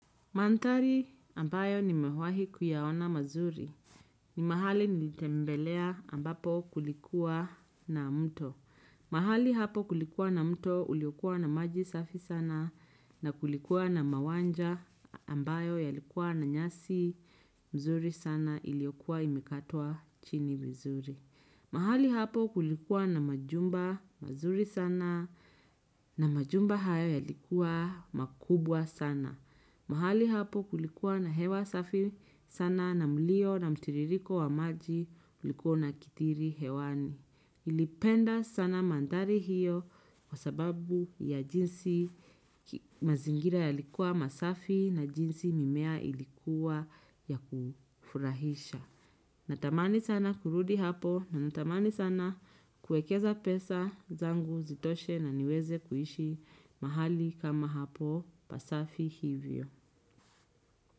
Manthari ambayo nimewahi kuyaona mazuri ni mahali nilitembelea ambapo kulikuwa na mto. Mahali hapo kulikuwa na mto uliokua na maji safi sana na kulikuwa na mawanja ambayo yalikuwa na nyasi mzuri sana iliyokua imekatwa chini mzuri. Mahali hapo kulikuwa na majumba mazuri sana na majumba haya yalikuwa makubwa sana. Mahali hapo kulikuwa na hewa safi sana na mlio na mtiririko wa maji ulikuwa unakithiri hewani. Nilipenda sana manthari hiyo kwa sababu ya jinsi mazingira yalikuwa masafi na jinsi mimea ilikuwa ya kufurahisha. Natamani sana kurudi hapo na natamani sana kuekeza pesa zangu zitoshe na niweze kuishi mahali kama hapo pasafi hivyo.